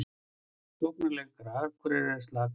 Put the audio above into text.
Sóknarleikur Akureyrar er slakur